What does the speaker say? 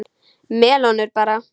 Melónur bara!